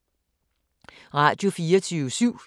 Radio24syv